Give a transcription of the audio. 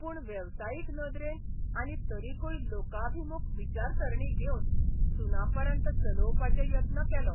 पूण वेवसायीक नदरेन आनी तरिकूय लोकाभिमुख विचारसरणी घेवन सुनापरान्त चलोवपाचे यत्न केलो.